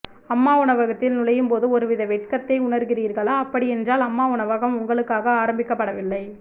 அம்மா உணவகத்தில் நுழையும் போது ஒருவித வெட்கத்தை உணர்கிறீர்களா அப்படி என்றால் அம்மா உணவகம் உங்களுக்காக ஆரம்பிக்க பட வில்லை